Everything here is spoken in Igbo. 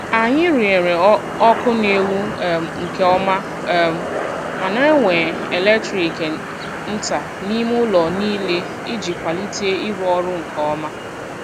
Anyị rụnyere ọkụ na-enwu um nke ọma um ma na-ewe eletrik nta n'ime ụlọ niile iji kwalite ịrụ ọrụ nke ọma.